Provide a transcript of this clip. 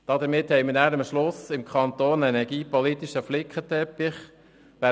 Damit haben wir am Schluss einen energiepolitischen Flickenteppich im Kanton.